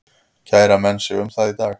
Kæra menn sig um það í dag?